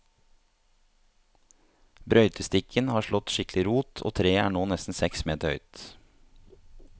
Brøytestikken har slått skikkelig rot, og treet er nå nesten seks meter høyt.